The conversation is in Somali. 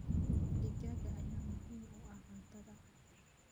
Digaagga ayaa muhiim u ah cuntada.